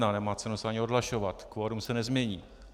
Nemá cenu se ani odhlašovat, kvorum se nezmění.